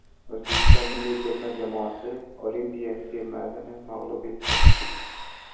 O‘zbekiston milliy terma jamoasi olimpiya termasini mag‘lub etdi.